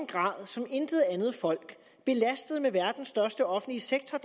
grad som intet andet folk belastet af verdens største offentlige sektor